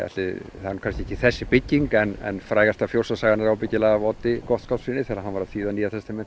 það er nú kannski ekki þessi bygging en frægasta fjósasagan er ábyggilega af Oddi Gottskálkssyni þegar hann var að þýða Nýja testamentið